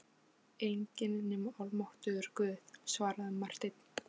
Enginn nema almáttugur Guð, svaraði Marteinn.